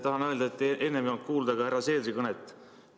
Tahan öelda, et enne ei olnud kuulda ka härra Seederi kõnet.